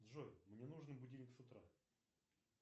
джой мне нужен будильник с утра